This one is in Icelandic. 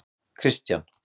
Kristian